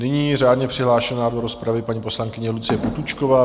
Nyní řádně přihlášená do rozpravy paní poslankyně Lucie Potůčková.